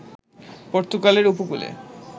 পর্তুগালের ঊপকূলে